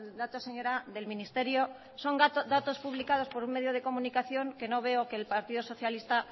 datos señora del ministerio son datos publicados por un medio de comunicación que no veo que el partido socialista